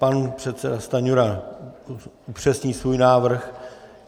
Pan předseda Stanjura upřesní svůj návrh.